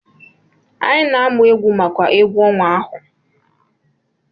Anyị na-amụ egwu maka egwu ọnwa ahụ.